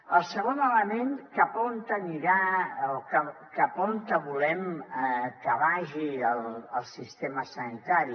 el segon element cap a on anirà o cap on volem que vagi el sistema sanitari